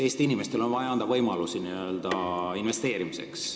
Eesti inimestele on vaja anda võimalusi investeerimiseks.